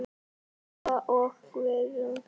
Inga og Guðrún.